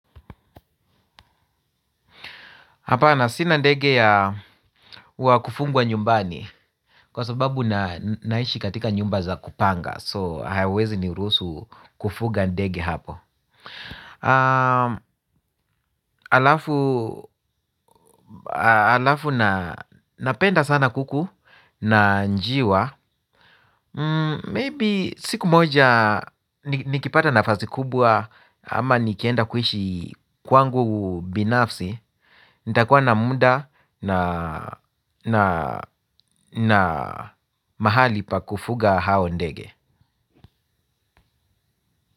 Hapana sina ndege ya wakufungwa nyumbani. Kwa sababu, ninaishi katika nyumba za kupanga, So hawawezi niruhusu kufuga ndege hapo. Alafu napenda sana kuku na njiwa. Maybe siku moja nikipata nafasi kubwa ama nikienda kuishi kwangu binafsi nitakuwa na muda na mahali pa kufuga hao ndege.